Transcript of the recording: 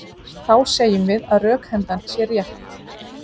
Þá segjum við að rökhendan sé rétt.